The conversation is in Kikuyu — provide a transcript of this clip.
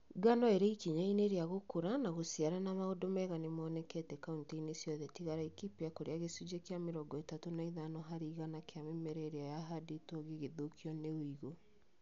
Ngano ĩrĩ ikinya-inĩ rĩa gũkũra na gũciara na maũndũ mega nĩmonekete kauntĩ-inĩ ciothe tiga Laikipia kũrĩa gĩcunjĩ kĩa mĩrongo ĩtatũ na ithano harĩ igana kĩa mĩmera ĩrĩa yahandĩtwo gĩgĩthũkio nĩ ũigu